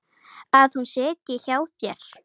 Að hún sitji hjá þér?